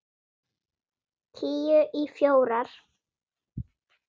Tíu í fjórar.